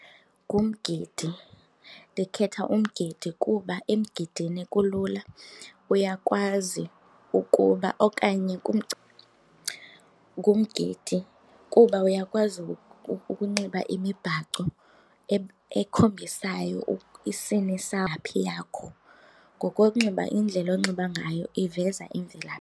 Ngumgidi. Ndikhetha umgidi kuba emgidini kulula uyakwazi ukuba okanye . Ngumgidi kuba uyakwazi ukunxiba imibhaco ekhombisayo isini yakho, ngokokunxiba indlela onxiba ngayo iveza imvela.